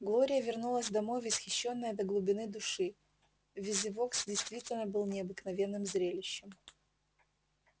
глория вернулась домой восхищённая до глубины души визивокс действительно был необыкновенным зрелищем